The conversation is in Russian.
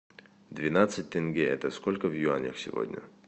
двенадцать тенге это сколько в юанях сегодня